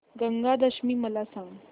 गंगा दशमी मला सांग